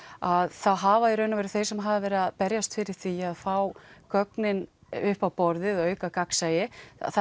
að þá hafa í raun og veru þeir sem hafa verið að berjast fyrir því að fá gögnin upp á borðið og auka gagnsæi